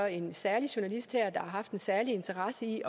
en særlig journalist her har haft en særlig interesse i